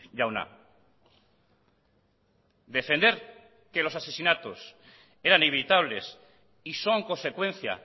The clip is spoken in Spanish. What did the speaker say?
jauna defender que los asesinatos eran evitables y son consecuencia